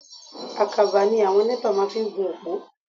Àkàbà ni àwọn NEPA máa ń fi ń gun òpó.